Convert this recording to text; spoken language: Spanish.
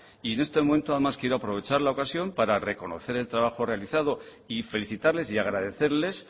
y en estos momentos además quiero aprovechar la ocasión para reconocer el trabajo realizado y felicitarles y agradecerles